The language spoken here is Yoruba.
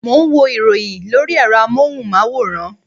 Mo ń wo ìròyìn lórí ẹ̀rọ amóhùnmáwòrán